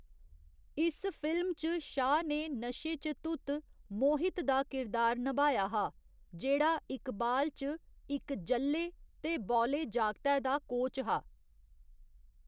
इस फिल्म च शाह ने नशे च धुत मोहित दा किरदार नभाया हा, जेह्‌‌ड़ा इकबाल च इक ज'ल्ले ते बौले जागतै दा कोच हा।